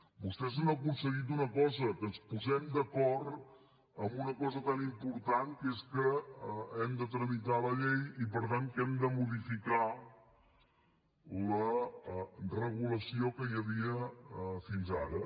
vostès han aconseguit una cosa que ens posem d’acord en una cosa tan important que és que hem de tramitar la llei i per tant que hem de modificar la regulació que hi havia fins ara